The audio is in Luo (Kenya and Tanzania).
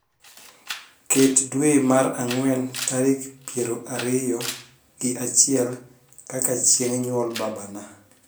ket dwe mar angwen tarik piero ariyo gi achiel kaka chieng nyuol babana